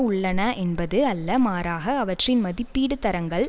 உள்ளன என்பது அல்ல மாறாக அவற்றை மதிப்பீடும் தரங்கள்